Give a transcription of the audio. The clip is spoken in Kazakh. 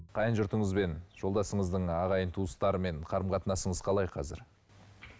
қайын жұртыңызбен жолдасыңыздың ағайын туыстарымен қарым қатынасыңыз қалай қазір